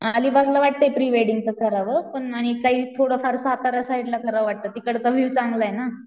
Not Marathi? Try Hindi